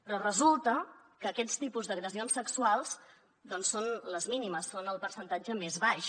però resulta que aquests tipus d’agressions sexuals doncs són les mínimes són el percentatge més baix